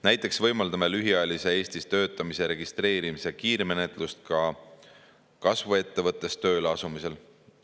Näiteks võimaldame lühiajalise Eestis töötamise registreerimise kiirmenetlust kasvuettevõttes tööle asumisel.